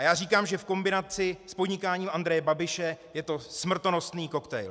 A já říkám, že v kombinaci s podnikáním Andreje Babiše je to smrtonosný koktejl.